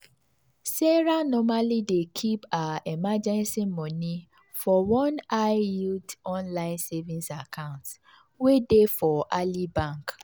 sarah normally dey keep her emergency money for one high-yield online savings account wey dey for ally bank.